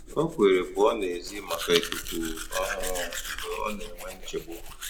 Ó kwèrè pụ́ọ́ n'èzí màkà íkúkú ọ́hụ̀rụ̀ mgbe ọ́ nà-énwé nchégbù.